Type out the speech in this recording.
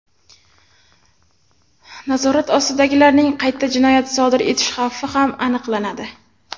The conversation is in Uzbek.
Nazorat ostidagilarning qayta jinoyat sodir etish xavfi ham aniqlanadi.